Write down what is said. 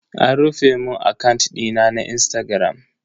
An rufe mun akant dina na Instagram.